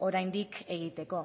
oraindik egiteko